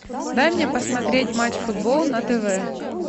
дай мне посмотреть матч футбол на тв